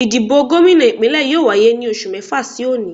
Ìdìbò gómìnà Ìpínlẹ̀ yóò wáyé ní oṣù mẹ́fà sí òní